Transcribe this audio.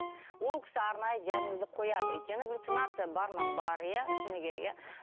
ол кісі арнайы диагнозды қояды өйткені галлюцинация бар ма бар иә шыны керек иә